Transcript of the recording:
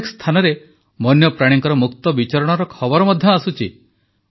ଅନେକ ସ୍ଥାନରେ ବନ୍ୟପ୍ରାଣୀଙ୍କ ମୁକ୍ତ ବିଚରଣର ଖବର ମଧ୍ୟ ଆସୁଛି